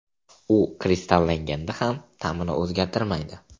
U kristallanganda ham ta’mini o‘zgartirmaydi.